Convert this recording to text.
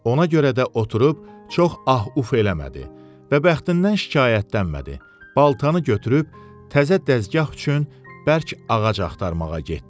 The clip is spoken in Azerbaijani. Ona görə də oturub çox ah-uf eləmədi və bəxtindən şikayətlənmədi, baltanı götürüb təzə dəzgah üçün bərk ağac axtarmağa getdi.